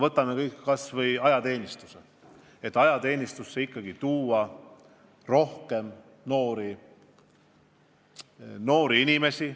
Võtame kas või ajateenistuse – me soovime ajateenistusse ikkagi tuua rohkem noori inimesi.